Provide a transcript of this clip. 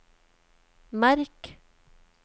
merk